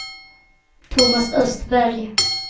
Tomas Östberg